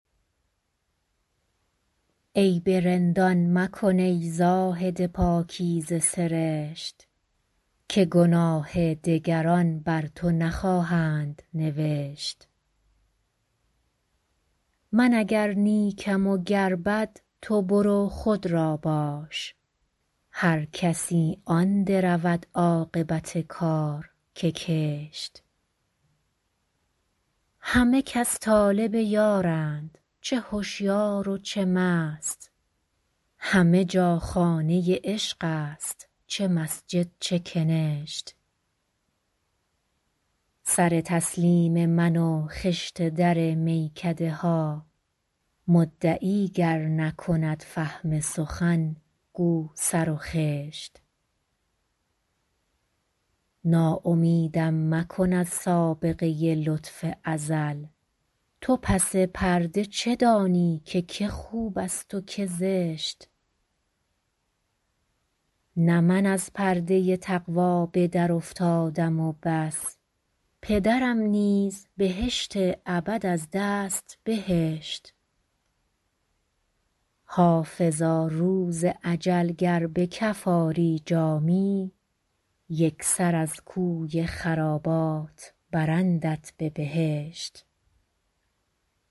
عیب رندان مکن ای زاهد پاکیزه سرشت که گناه دگران بر تو نخواهند نوشت من اگر نیکم و گر بد تو برو خود را باش هر کسی آن درود عاقبت کار که کشت همه کس طالب یارند چه هشیار و چه مست همه جا خانه عشق است چه مسجد چه کنشت سر تسلیم من و خشت در میکده ها مدعی گر نکند فهم سخن گو سر و خشت ناامیدم مکن از سابقه لطف ازل تو پس پرده چه دانی که که خوب است و که زشت نه من از پرده تقوا به درافتادم و بس پدرم نیز بهشت ابد از دست بهشت حافظا روز اجل گر به کف آری جامی یک سر از کوی خرابات برندت به بهشت